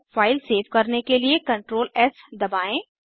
file save करने के लिए CTRL एस दबाएं